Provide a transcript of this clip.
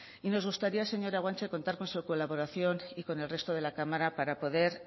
y nos gustaría señora guanche contar con su colaboración y con el resto de la cámara para poder